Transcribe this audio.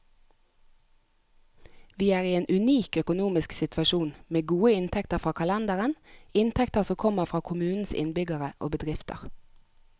Vi er i en unik økonomisk situasjon, med gode inntekter fra kalenderen, inntekter som kommer fra kommunens innbyggere og bedrifter.